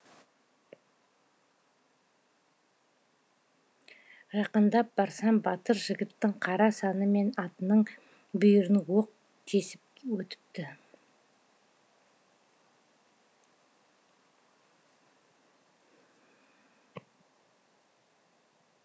жақындап барсам батыр жігіттің қара саны мен атының бүйірін оқ тесіп өтіпті